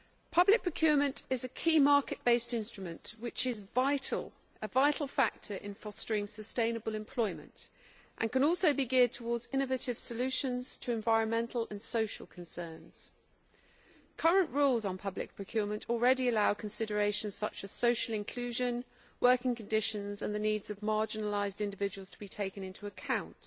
Public procurement is a key market based instrument which is a vital factor in fostering sustainable employment and can also be geared towards innovative solutions to environmental and social concerns. Current rules on public procurement already allow considerations such as social inclusion, working conditions and the needs of marginalised individuals to be taken into account.